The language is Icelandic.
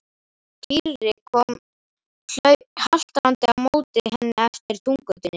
Týri kom haltrandi á móti henni eftir túngötunni.